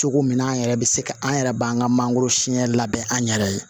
Cogo min na an yɛrɛ bɛ se ka an yɛrɛ b'an ka mangoro siyɛn labɛn an yɛrɛ ye